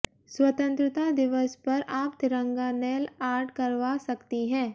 स्वतंत्रता दिवस पर आप तिरंगा नेल आर्ट करवा सकती है